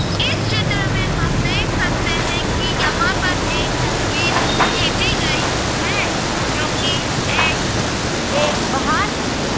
इस चित्र में हम देख सकते हैं कि यहां पर एक तस्वीर खींची गई है जोकि एक एक बाहर के--